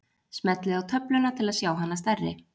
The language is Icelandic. Smellið á töfluna til að sjá hana stærri.